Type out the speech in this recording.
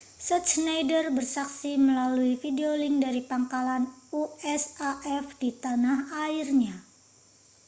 schneider bersaksi melalui videolink dari pangkalan usaf di tanah airnya